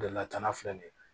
De latana filɛ nin ye